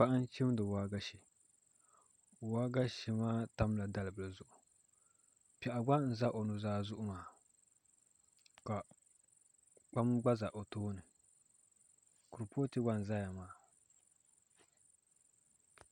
Paɣa n chimdi waagashe waagashe maa tamla dalbili zuɣu piɛɣu gba n ʒɛ o nuzaa zuɣu maa ka kpam gba ʒɛ o tooni kuripooti gba n ʒɛya maa